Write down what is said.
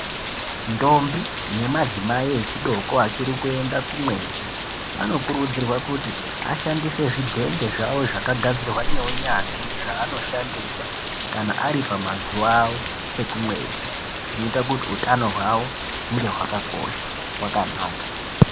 Ndombi ne madzimai echi doko achiri kuenda ku mwedzi anokurudzirwa kuti ashandise zvidhende zvawo zvaka gadzirwa ne unyanzvi zva anoshandisa kana ari pamazuva awo ekumwedzi zvinoita kuti utano hwawo hunge hwakakosha hwakanaka.